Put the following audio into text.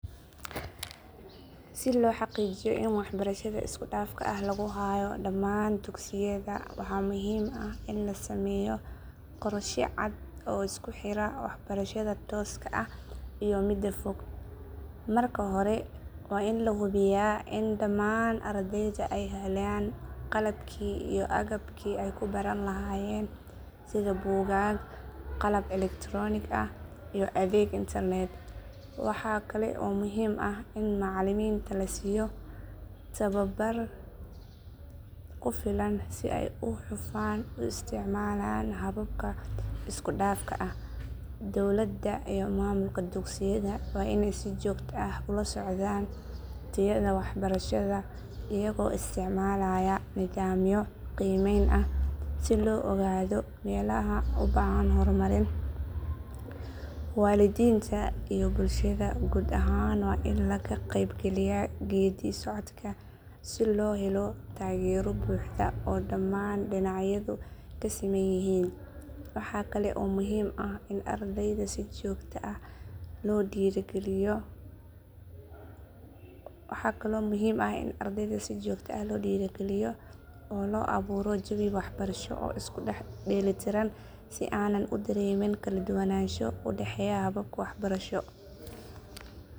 Si loo xaqiijiyo in waxbarashada isku dhafka ah lagu hayo dhammaan dugsiyada waxaa muhiim ah in la sameeyo qorshe cad oo isku xira waxbarashada tooska ah iyo midda fog. Marka hore waa in la hubiyaa in dhamaan ardayda ay helaan qalabkii iyo agabkii ay ku baran lahaayeen sida buugaag, qalab elektaroonik ah, iyo adeeg internet. Waxa kale oo muhiim ah in macallimiinta la siiyo tababar ku filan si ay si hufan u isticmaalaan hababka isku dhafka ah. Dowladda iyo maamulka dugsiyada waa inay si joogto ah ula socdaan tayada waxbarashada iyagoo isticmaalaya nidaamyo qiimeyn ah si loo ogaado meelaha u baahan horumarin. Waalidiinta iyo bulshada guud ahaan waa in laga qeyb galiyaa geeddi socodka si loo helo taageero buuxda oo dhammaan dhinacyadu ka siman yihiin. Waxaa kale oo muhiim ah in ardayda si joogto ah loo dhiirrigeliyo oo loo abuuro jawi waxbarasho oo isku dheelitiran si aanay u dareemin kala duwanaansho u dhexeeya hababka waxbarasho. Marka la isku daro dadaalka maamulka, macallimiinta, waalidiinta, iyo bulshada guud ahaan, waxa la heli karaa waxbarasho isku dhaf ah oo tayo leh kuna fidsan dhammaan dugsiyada dalka.